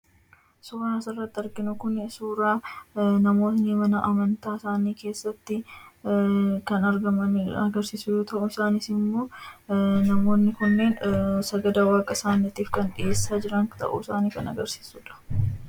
Suuraan asirratti arginu kun suuraa namoonni mana amantaa isaanii keessatti kan argaman agarsiisu yoo ta'u, isaanis immoo namoonni kunneen sagada waaqa isaaniitiif kan dhiyeessaa jiran ta'uu isaanii kan agarsiisu dha.